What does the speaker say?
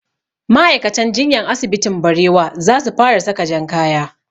Ma'aikatan jinyan asibitin barewa za su fara saka jan kaya